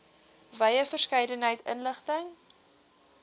wye verskeidenheid inligting